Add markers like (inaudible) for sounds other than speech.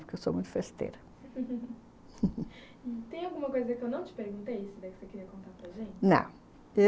Eu sou muito festeira (laughs) tem alguma coisa que eu não te perguntei que você queira contar para a gente? não...